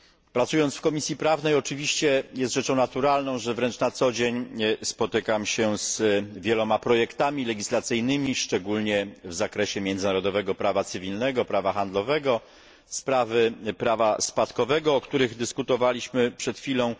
Pracując w Komisji Prawnej, oczywiście jest rzeczą naturalną, że wręcz na co dzień spotykam się z wieloma projektami legislacyjnymi, szczególnie w zakresie międzynarodowego prawa cywilnego, prawa handlowego, spraw prawa spadkowego, o których dyskutowaliśmy przed chwilą.